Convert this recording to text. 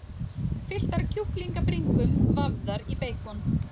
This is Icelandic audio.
Fylltar kjúklingabringum vafðar í beikon.